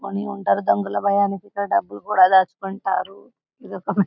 దాచుకొని ఉంటారు అందులో వారు డబ్బులు కూడా దాచుకుంటారు ఇదిఒక.